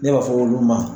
Ne b'a fɔ olu ma